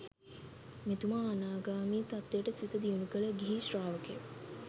මෙතුමා අනාගාමී තත්වයට සිත දියුණු කළ ගිහි ශ්‍රාවකයෙක්.